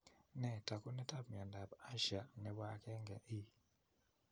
Nee taakunetaab myondap Usher, nebo 1E?